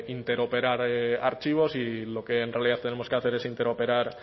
interoperar archivos y lo que en realidad tenemos que hacer es interoperar